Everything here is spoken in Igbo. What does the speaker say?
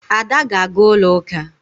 Ada ga-aga ulo uka.